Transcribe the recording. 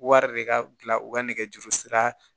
Wari de ka gilan u ka nɛgɛjuru sira